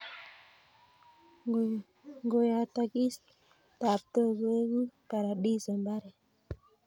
Ngoyotokis taptok. Koeku Paradiso mbaret